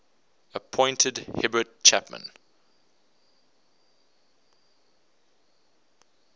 appointed herbert chapman